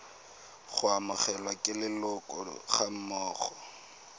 go amogelwa ke leloko gammogo